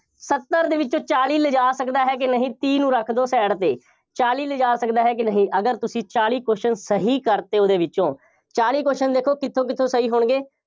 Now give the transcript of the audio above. ਸੱਤਰ ਦੇ ਵਿੱਚੋਂ ਚਾਲੀ ਲਿਜਾ ਸਕਦਾ ਹੈ ਕਿ ਨਹੀਂ, ਤੀਹ ਨੂੰ ਰੱਖ ਦਿਓ side ਤੇ, ਚਾਲੀ ਲਿਜਾ ਸਕਦਾ ਹੈ ਕਿ ਨਹੀਂ, ਅਗਰ ਤੁਸੀਂ ਚਾਲੀ question ਸਹੀ ਕਰਤੇ ਉਹਦੇ ਵਿੱਚੋਂ, ਚਾਲੀ question ਦੇਖੋ ਕਿੱਥੋਂ ਕਿੱਥੋਂ ਸਹੀ ਹੋਣਗੇ।